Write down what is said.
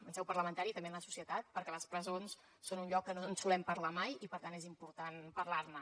en seu parlamentària i també en la societat perquè les presons són un lloc que no en solem parlar mai i per tant és important parlar ne